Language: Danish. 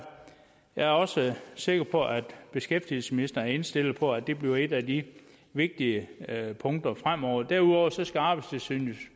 er også sikker på at beskæftigelsesministeren er indstillet på at det bliver et af de vigtige punkter fremover derudover skal arbejdstilsynet